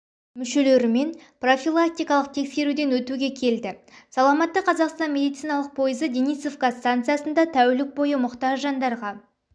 мүшелерімен профилактикалық тексеруден өтуге келді саламатты қазақстан медициналық пойызы денисовка станциясында тәулік бойы мұқтаж жандарға